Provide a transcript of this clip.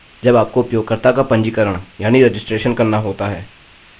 अब इसका एक मुख्य उपयोग है जब आपको उपयोगकर्ता का पंजीकरण यानि रजिस्ट्रेशन करना होता है